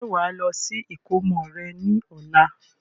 Ṣé wàá lọ sí ìkómọ rẹ ní ọ̀la?